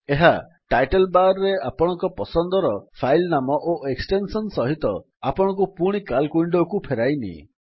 ଏହା title bar ରେ ଆପଣଙ୍କ ପସନ୍ଦର ଫାଇଲ୍ ନାମ ଓ ଏକ୍ସଟେନ୍ସନ୍ ସହିତ ଆପଣଙ୍କୁ ପୁଣି ସିଏଏଲସି ୱିଣ୍ଡୋକୁ ଫେରାଇନିଏ